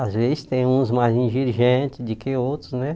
Às vezes tem uns mais exigentes do que outros, né?